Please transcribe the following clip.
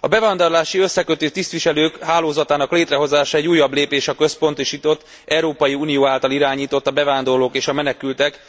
A bevándorlási összekötő tisztviselők hálózatának létrehozása egy újabb lépés a központosított, Európai Unió által irányított, a bevándorlók és a menekültek